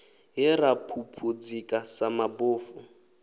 he ra phuphuzika sa mabofu